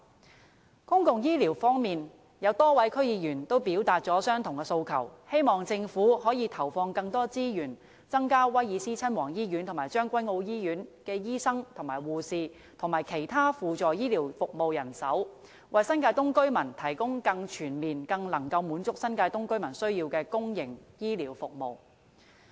就公共醫療方面，有多位區議員均表達了相同的訴求，希望政府可以投放更多資源，增加威爾斯親王醫院和將軍澳醫院的醫生、護士和輔助醫療服務人手，為新界東居民提供更全面、更能滿足他們需要的公營醫療服務。